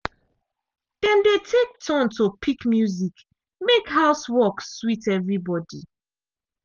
dem dey take turn to pick music mek housework sweet evribody.